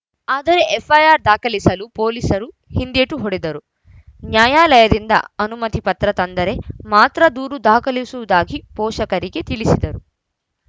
ಆದರೆ ಎಫ್‌ಐಆರ್‌ ದಾಖಲಿಸಲು ಪೊಲೀಸರು ಹಿಂದೇಟು ಹೊಡೆದರು ನ್ಯಾಯಾಲಯದಿಂದ ಅನುಮತಿ ಪತ್ರ ತಂದರೆ ಮಾತ್ರ ದೂರು ದಾಖಲಿಸುವುದಾಗಿ ಪೋಷಕರಿಗೆ ತಿಳಿಸಿದರು